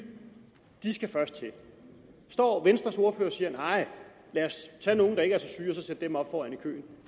skal først til står venstres ordfører og siger nej lad os tage nogle der ikke er så syge og så sætte dem op foran i køen